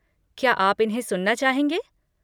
क्या आप इन्हें सुनना चाहेंगे?